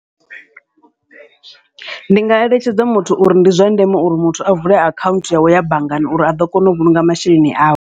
Ndi nga eletshedza muthu uri ndi zwa ndeme uri muthu a vule akhaunthu yawe ya banngani, uri a ḓo kona u vhulunga masheleni awe.